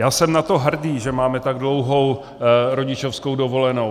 Já jsem na to hrdý, že máme tak dlouhou rodičovskou dovolenou.